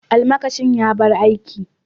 Almakashin ya bar aiki.